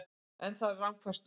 En það eru rangfærslur